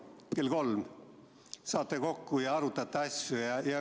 –näiteks kell kolm saate kokku ja arutate asju.